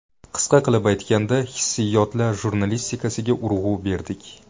Qisqa qilib aytganda hissiyotlar jurnalistikasiga urg‘u berdik.